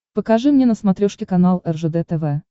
покажи мне на смотрешке канал ржд тв